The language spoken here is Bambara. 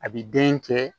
A bi den kɛ